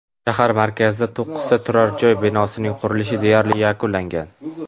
Shahar markazidagi to‘qqizta turar joy binosining qurilishi deyarli yakunlangan.